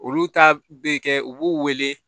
Olu ta bɛ kɛ u b'u wele